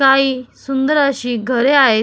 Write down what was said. काही सुंदर अशी घरे आहेत.